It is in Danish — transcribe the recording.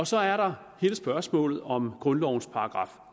så er der hele spørgsmålet om grundlovens §